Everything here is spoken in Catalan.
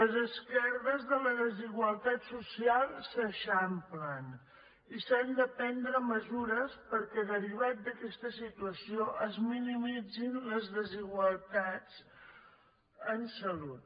les esquerdes de la desigualtat social s’eixamplen i s’han de prendre mesures perquè derivat d’aquesta situació es minimitzin les desigualtats en salut